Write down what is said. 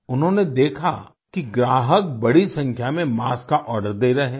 उन्होंने देखा कि ग्राहक बड़ी संख्या में मास्क का आर्डर दे रहे हैं